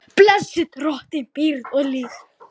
Blessi Drottinn byggð og lýð, blessi alla tíð.